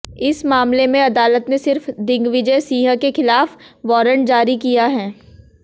इस मामले में अदालत ने सिर्फ दिग्विजय सिंह के खिलाफ वारंट जारी किया है